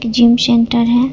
Gym centre है।